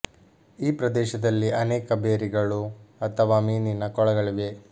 ಈ ಪ್ರದೇಶದಲ್ಲಿ ಅನೇಕ ಭೇರಿ ಗಳು ಅಥವಾ ಮೀನಿನ ಕೊಳಗಳಿವೆ